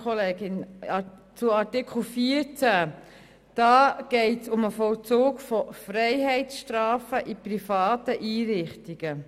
In Artikel 14 geht es um den Vollzug von Freiheitsstrafen in privaten Einrichtungen.